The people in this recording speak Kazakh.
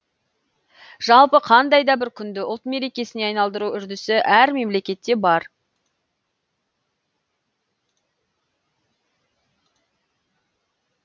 жалпы қандай да бір күнді ұлт мерекесіне айналдыру үрдісі әр мемлекетте бар